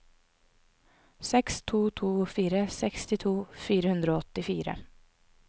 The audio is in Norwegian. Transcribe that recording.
seks to to fire sekstito fire hundre og åttifire